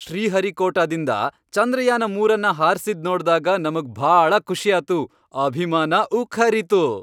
ಶ್ರೀಹರಿಕೋಟಾದಿಂದ ಚಂದ್ರಯಾನ ಮೂರನ್ನ ಹಾರ್ಸಿದ್ ನೋಡ್ದಾಗ ನಮಗ್ ಭಾಳ ಖುಷಿಯಾತು, ಅಭಿಮಾನ ಉಕ್ಕ್ಹರೀತು.